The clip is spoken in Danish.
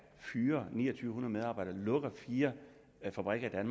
fyrer to ni hundrede medarbejdere og lukker fire fabrikker i